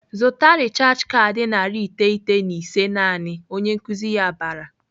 "Zụta rechaj kaadị narị iteghete na ise naanị!" Onye nkuzi ya bara.